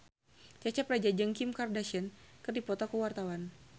Cecep Reza jeung Kim Kardashian keur dipoto ku wartawan